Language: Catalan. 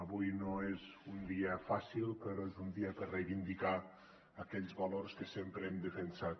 avui no és un dia fàcil però és un dia per reivindicar aquells valors que sempre hem defensat